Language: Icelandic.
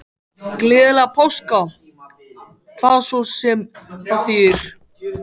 Gleðilega páska, hvað svo sem það þýðir.